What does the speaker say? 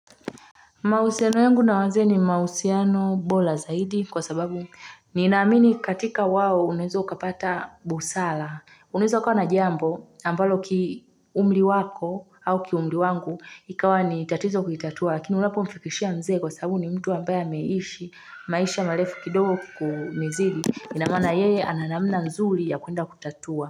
Mahusiano yangu na wazee ni mahusiano bora zaidi kwa sababu ninaamini katika wao unaweza ukapata busara unaweza kuwa na jambo ambalo kiumri wako au kiumri wangu ikawa ni tatizo kuitatua lakini unapomfikishia mzee kwa sababu ni mtu ambaye ameishi maisha marefu kidogo kutuzidi ina maana yeye ana namna nzuri ya kuenda kutatua.